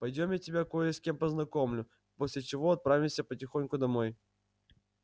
пойдём я тебя кое с кем познакомлю после чего отправимся потихоньку домой